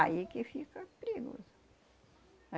Aí que fica perigoso.